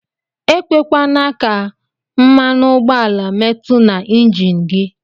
Ekwekwana ka mmanụugbọala mmetu na enjin gi.